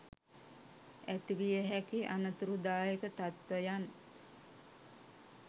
ඇති විය හැකි අනතුරුදායක තත්ත්වයන්